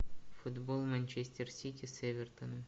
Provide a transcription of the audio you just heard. футбол манчестер сити с эвертоном